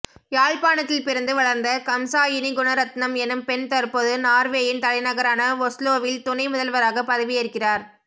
யாழ்பாணத்தில் பிறந்து வளர்ந்த கம்சாயினி குணரத்னம் எனும் பெண் தற்போது நார்வேயின் தலைநகரான ஒஸ்லோவில் துணை முதல்வராக பதவி ஏற்கிறார்